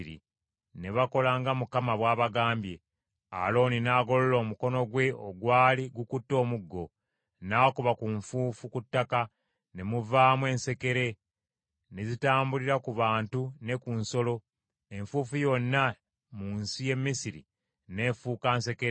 Ne bakola nga Mukama bw’abagambye; Alooni n’agolola omukono gwe ogwali gukute omuggo, n’akuba ku nfuufu ku ttaka, ne muvaamu ensekere ne zitambulira ku bantu ne ku nsolo; enfuufu yonna mu nsi y’e Misiri n’efuuka nsekere.